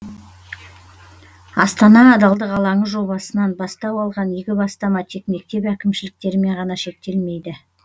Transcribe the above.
астана адалдық алаңы жобасынан бастау алған игі бастама тек мектеп әкімшіліктерімен ғана шектелмейді